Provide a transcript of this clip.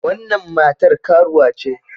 Wannan matar karuwa ce.